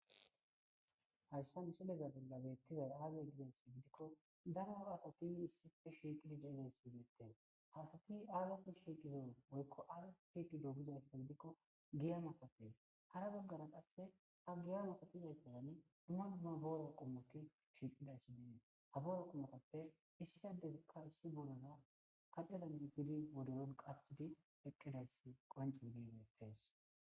Hayssa missiliya bolla betizzay azze gikko darro assti urri shiqqidi assati aybbakko shqqizzo gizayssa gidikko giyya mattikko harra bagarra qasi hagiyan issi bottan dumma dumma borrata qommotti shiqqides haborratu mattappe issi addezi issi borrazas kaccen wodorro qachidi eqqizayss bettees